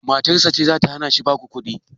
Matarsa ce zata hanashi basu kuɗi?